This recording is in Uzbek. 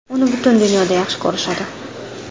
Uni butun dunyoda yaxshi ko‘rishadi.